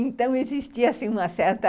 Então, existia assim, uma certa...